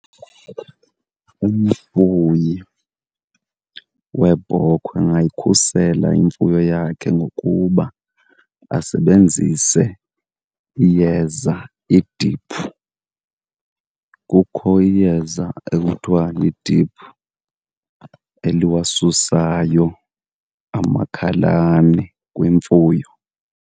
Umfuyi weebhokhwe angayikhusela imfuyo yakhe ngokuba asebenzise iyeza idiphu. Kukho iyeza ekuthiwa yidiphu eliwasusayo amakhalane kwimfuyo.